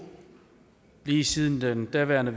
lige siden den daværende